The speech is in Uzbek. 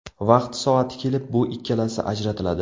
Vaqti-soati kelib, bu ikkalasi ajratiladi.